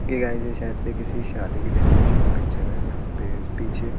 okay guys ये शायद से किसी शादी की डेकोरेशन का पिक्चर है जहाँ पे पीछे--